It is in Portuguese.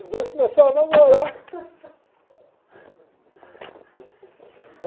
Os dois começaram a namorar.